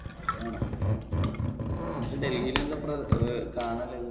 വേണം എന്നിട്ട് ഡൽഹില് എന്താ അഹ് കാണാൻ ഉള്ളത്?